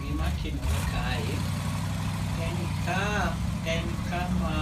Gimatimore kae, en ni ka en kama